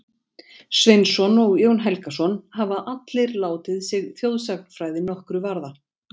Sveinsson og Jón Helgason, hafa allir látið sig þjóðsagnafræði nokkru varða.